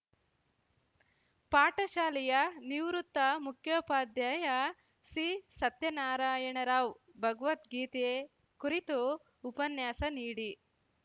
ಪಾಠಶಾಲೆಯ ನಿವೃತ್ತ ಮುಖ್ಯೋಪಾಧ್ಯಾಯ ಸಿಸತ್ಯನಾರಾಯಣರಾವ್‌ ಭಗವದ್ಗೀತೆ ಕುರಿತು ಉಪನ್ಯಾಸ ನೀಡಿ